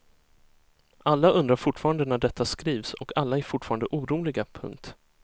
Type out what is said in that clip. Alla undrar fortfarande när detta skrivs och alla är fortfarande oroliga. punkt